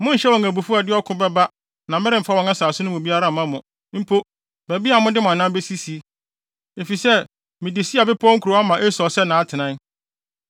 Monnhyɛ wɔn abufuw a ɛde ɔko bɛba na meremfa wɔn nsase no mu biara mma mo; mpo, baabi a mode mo anan besisi, efisɛ mede Seir bepɔw kurow ama Esau sɛ nʼatenae.